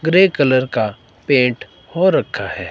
Grey colour का paint हो रखा है।